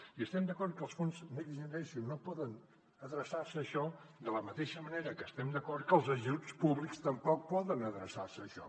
i estem d’acord que els fons next generation no poden adreçar se a això de la mateixa manera que estem d’acord que els ajuts públics tampoc poden adreçar se a això